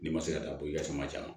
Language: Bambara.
N'i ma se ka taa don i ka sama